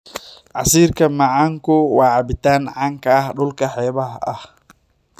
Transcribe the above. Casiirka macaanku waa cabitaan caan ka ah dhulka xeebaha ah.